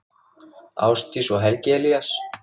Ásdís og Helgi Elías.